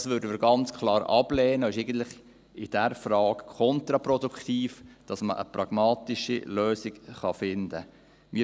Das würden wir ganz klar ablehnen, und es ist eigentlich in dieser Frage kontraproduktiv dafür, dass man eine pragmatische Lösung finden kann.